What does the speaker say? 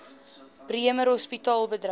bremer hospitaal bedryf